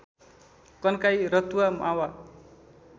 Kankai Ratuwa Mawa